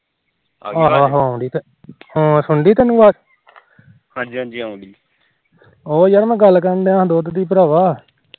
ਉਹ ਯਾਰ ਮੈ ਗੱਲ ਕਰ ਰਿਹਾ ਦੁਧ ਦੀ ਭਰਾਵਾ